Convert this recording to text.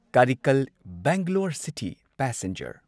Karaikal Bangalore city passenger